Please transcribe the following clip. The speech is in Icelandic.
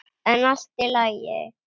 En allt í lagi.